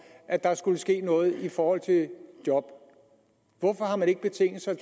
at der skulle ske noget i forhold til job hvorfor har man ikke betinget sig